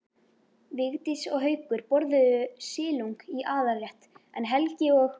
Vigdís og Haukur borðuðu silung í aðalrétt en Helgi og